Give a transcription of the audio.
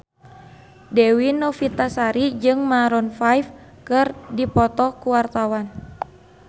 Dewi Novitasari jeung Maroon 5 keur dipoto ku wartawan